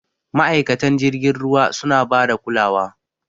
Ma'aikatan jirgin ruwa suna bada kulawa.